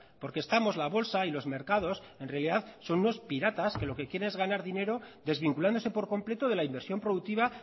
porque estamos la bolsa y los mercados en realidad son unos piratas que lo que quieren es ganar dinero desvinculándose por completo de la inversión productiva